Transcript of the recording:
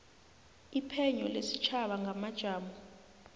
iphenyo lesitjhaba ngamajamo